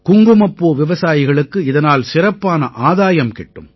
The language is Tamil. குங்குமப்பூ விவசாயிகளுக்கு இதனால் சிறப்பான ஆதாயம் கிட்டும்